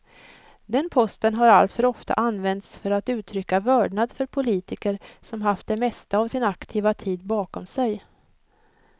Den posten har alltför ofta använts för att uttrycka vördnad för politiker som haft det mesta av sin aktiva tid bakom sig.